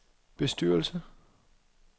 bestyrelse